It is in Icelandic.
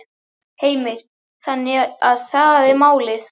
Heimir: Þannig að það er málið?